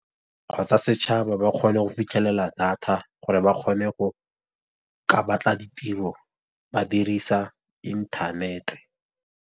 Kgotsa setšhaba ba kgone go fitlhelela data, gore ba kgone go ka batla ditiro ba dirisa inthanete.